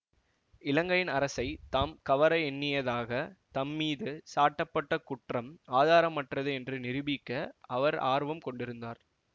இலங்கையின் அரசை தாம் கவர எண்ணியதாகத் தம் மீது சாட்டப் பட்ட குற்றம் ஆதாரமற்றது என்று நிரூபிக்க அவர் ஆர்வம் கொண்டிருந்தார்